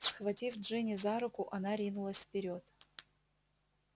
схватив джинни за руку она ринулась вперёд